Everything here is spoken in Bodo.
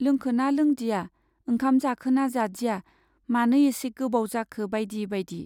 लोंखोना लोंदिया, ओंखाम जाखोना जादिया, मानो एसे गोबाव जाखो बाइदि बाइदि।